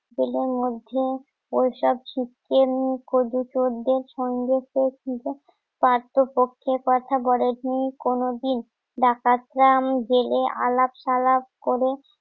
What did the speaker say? এদের মধ্যে ওইসব সিস্টেম করবি তোদের সঙ্গে পার্থপক্ষের কথা বলেনি কোনোদিন ডাকাতরা আমি গেলে আলাপ সালাপ করে